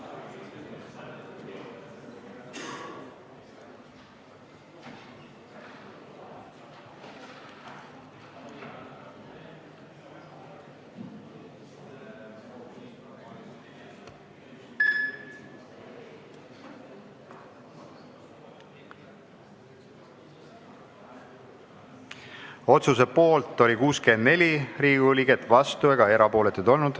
Hääletustulemused Otsuse poolt oli 64 Riigikogu liiget, vastuolijaid ega erapooletuid ei olnud.